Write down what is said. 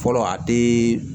Fɔlɔ a tɛ